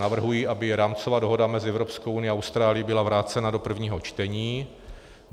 Navrhuji, aby rámcová dohoda mezi Evropskou unií a Austrálií byla vrácena do prvního čtení.